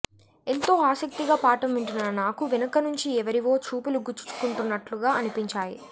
ఎంతో ఆసక్తిగా పాఠం వింటున్న నాకు వెనక నుంచి ఎవరివో చూపులు గుచ్చుకుంటున్నట్లుగా అనిపించాయి